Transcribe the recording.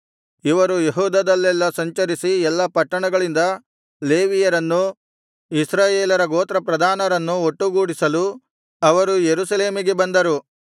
ಇವರು ಯೆಹೂದದಲ್ಲೆಲ್ಲಾ ಸಂಚರಿಸಿ ಎಲ್ಲಾ ಪಟ್ಟಣಗಳಿಂದ ಲೇವಿಯರನ್ನೂ ಇಸ್ರಾಯೇಲರ ಗೋತ್ರ ಪ್ರಧಾನರನ್ನೂ ಒಟ್ಟುಗೂಡಿಸಲು ಅವರು ಯೆರೂಸಲೇಮಿಗೆ ಬಂದರು